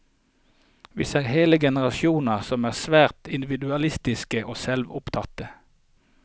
Vi ser hele generasjoner som er svært individualistiske og selvopptatte.